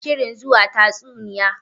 Muna shirin zuwa jin tatsuniya.